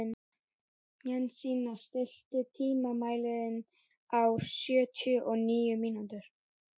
Jensína, stilltu tímamælinn á sjötíu og níu mínútur.